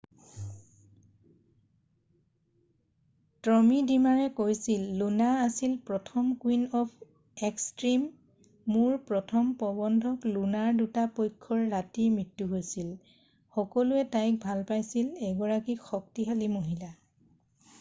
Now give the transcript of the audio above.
"Tommy ড্ৰিমাৰে কৈছিল "Luna আছিল প্ৰথম কুইন অফ এক্সট্ৰিম। মোৰ প্ৰথম প্ৰবন্ধক লুনাৰ দুটা পক্ষৰ ৰাতি মৃত্যু হৈছিল। সকলোৱে তাইক ভাল পাইছিল। এগৰাকী শক্তিশালী মহিলা।""